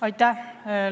Aitäh!